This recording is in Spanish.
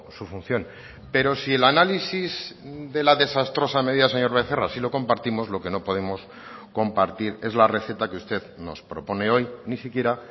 su función pero si el análisis de la desastrosa medida señor becerra sí lo compartimos lo que no podemos compartir es la receta que usted nos propone hoy ni siquiera